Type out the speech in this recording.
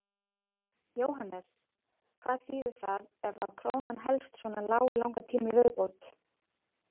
Jóhannes: Hvað þýðir það ef að krónan helst svona lág í langan tíma í viðbót?